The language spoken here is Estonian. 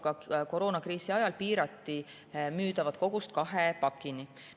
Ka koroonakriisi ajal piirati teinekord müüdavat kogust kahe pakini.